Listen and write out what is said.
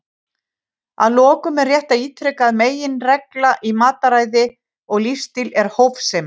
Að lokum er rétt að ítreka að meginreglan í mataræði og lífsstíl er hófsemi.